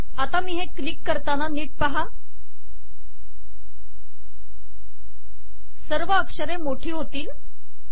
आता मी हे क्लिक करताना नीट पहा सर्व अक्षरे मोठी होतील